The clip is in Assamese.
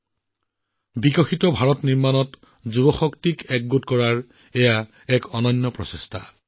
এখন উন্নত ভাৰত গঢ়াত ভাৰতৰ যুৱ শক্তিক একত্ৰিত কৰাৰ এক অনন্য প্ৰচেষ্টা